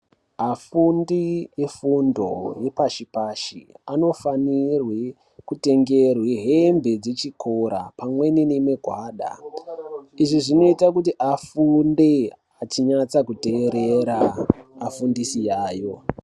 Afundi efundo yepashi pashi vanofanirwa kutengerwe hembe dzechikora pamweni nemigwada. Izvi zvinoita kuti afunde echinatsa kuterera afundisi avo.